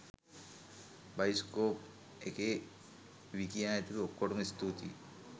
bioscope එකේ විකියා ඇතුළු ඔක්කොටම ස්තුතියි